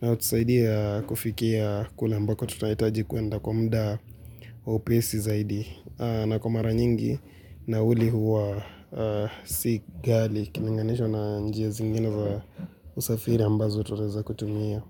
na hutusaidia kufikia kule ambako tunahitaji kwenda kwa muda wa upesi zaidi. Na kwamara nyingi nauli huwa si ghali ukilinanganisha na njia zingine za usafiri ambazo tunaweza kutumia.